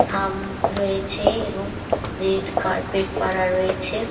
খাম রয়েছে এবং রেড কার্পেট পারা রয়েছে ।